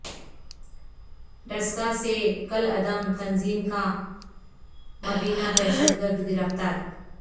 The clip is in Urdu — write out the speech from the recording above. ڈسکہ سے کالعدم تنظیم کا مبینہ دہشت گرد گرفتار